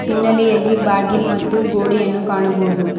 ಇನ್ನಲೆಯಲ್ಲಿ ಬಾಗಿಲು ಮತ್ತು ಗೋಡೆಯನ್ನು ಕಾಣಬಹುದು.